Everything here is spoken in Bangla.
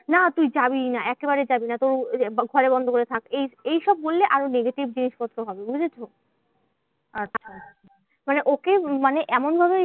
না তুই যাবিই না একেবারে যাবি না তোর ঘরে বন্ধ করে থাক। এই এই সব বললে আরো negative জিনিসপত্র হবে বুঝেছো? মানে ওকে মানে এমনভাবেই